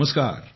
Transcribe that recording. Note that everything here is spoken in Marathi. नमस्कार